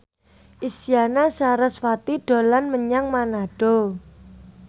Isyana Sarasvati dolan menyang Manado